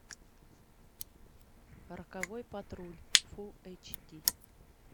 роковой патруль фул эйч ди